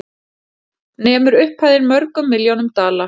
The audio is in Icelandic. Nemur upphæðin mörgum milljónum dala